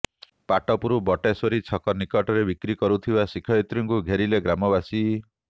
ପାଟପୁର ବଟେଶ୍ୱରୀ ଛକ ନିକଟରେ ବିକ୍ରି କରୁଥିବା ଶିକ୍ଷୟତ୍ରୀଙ୍କୁ ଘେରିଲେ ଗ୍ରାମବାସୀ